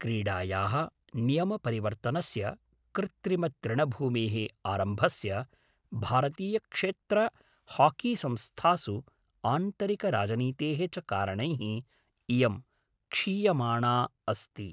क्रीडायाः नियमपरिवर्तनस्य, कृत्रिमतृणभूमेः आरम्भस्य, भारतीयक्षेत्रहाकीसंस्थासु आन्तरिकराजनीतेः च कारणैः इयं क्षीयमाणा अस्ति।